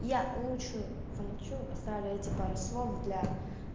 я лучше замолчу оставлю эти пару слов для